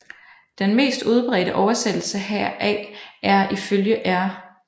Den mest udbredte oversættelse heraf er ifølge R